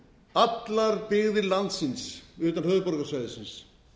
allar byggðir landsins utan höfuðborgarsvæðisins